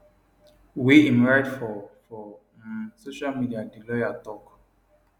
wey im write for for um social media di lawyer tok